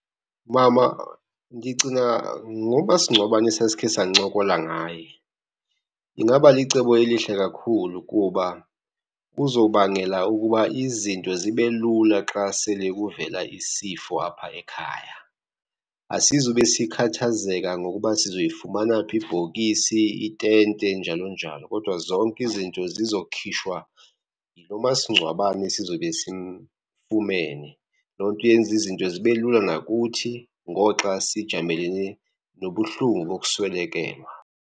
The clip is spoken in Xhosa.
Mama, ndicinga ngomasingcwabane esasikhe sancokola ngaye. Ingaba licebo elihle kakhulu kuba kuzobangela ukuba izinto zibe lula xa sele kuvela isifo apha ekhaya. Asizube sikhathazeka ngokuba sizoyifumana phi ibhokisi, itente njalo njalo. Kodwa zonke izinto zizokhishwa yilo masingcwabane sizobe simfumene. Loo nto yenza izinto zibe lula nakuthi ngoxa sijamelene nobuhlungu bokuswelekelwa.